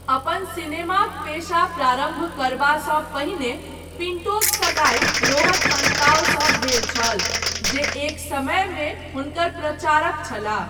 अपन सिनेमाक पेशा प्रारम्भ करबासँ पहिने, पिण्टोक सगाइ रोहन अन्ताओसँ भेल छल, जे एक समयमे हुनकर प्रचारक छलाह।